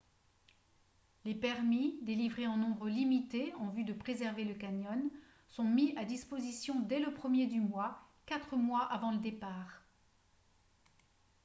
les permis délivrés en nombre limité en vue de préserver le canyon sont mis à disposition dès le premier du mois quatre mois avant le départ